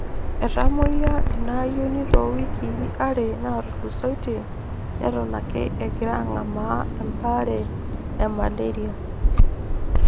Etamoyia inaayioni toowikii are naatulusoitie neton ake egiraa ang'amaa embaare emalaria.